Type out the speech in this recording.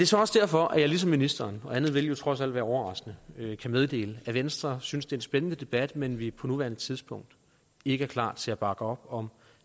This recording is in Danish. så også derfor at jeg ligesom ministeren og andet ville jo trods alt være overraskende kan meddele at venstre synes det er en spændende debat men vi på nuværende tidspunkt ikke er klar til at bakke op om